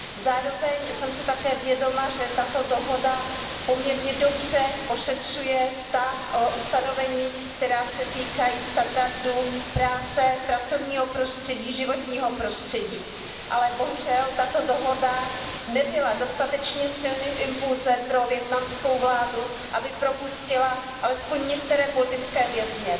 Zároveň jsem si také vědoma, že tato dohoda poměrně dobře ošetřuje ta ustanovení, která se týkají standardů práce, pracovního prostředí, životního prostředí, ale bohužel tato dohoda nebyla dostatečně silným impulzem pro vietnamskou vládu, aby propustila alespoň některé politické vězně.